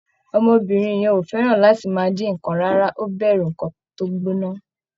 Ọmọbìnrin yẹn ò fẹ́ràn láti máà dín nǹkan rárá, ó bẹ̀rù nǹkan tó gbóná.